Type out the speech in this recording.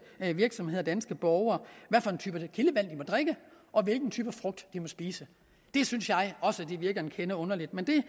virksomheder og danske borgere hvad for en type kildevand de må drikke og hvilken type frugt de må spise det synes jeg også virker en kende underligt men det